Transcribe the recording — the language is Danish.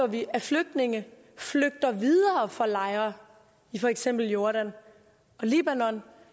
vi at flygtninge flygter videre fra lejre i for eksempel jordan og libanon